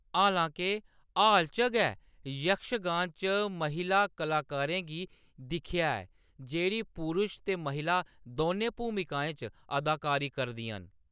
हालांके, हाल च गै, यक्षगान च महिला कलाकारें गी दिक्खेआ ऐ, जेह्‌‌ड़ी पुरश ते महिला दौनें भूमिकाएं च अदाकारी करदियां न।